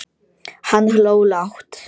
Hann hló lágt.